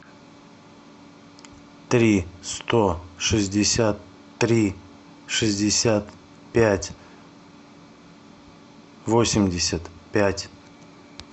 три сто шестьдесят три шестьдесят пять восемьдесят пять